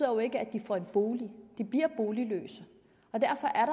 jo ikke at de får en bolig de bliver boligløse og derfor er